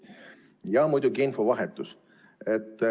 Ja muidugi infovahetus.